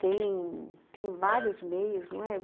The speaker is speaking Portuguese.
Tem vários meios, não é?